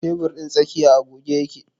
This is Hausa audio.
Tebur ɗin tsakiya a goge yake.